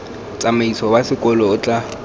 tsamaiso wa sekolo o tla